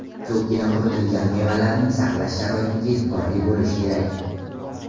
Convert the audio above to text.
Ko‘pgina quritilgan mevalarning saqlash sharoitiga e’tiborli bo‘lish kerak.